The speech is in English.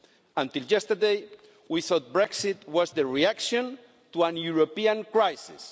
Until yesterday, we thought Brexit was the reaction to a European crisis.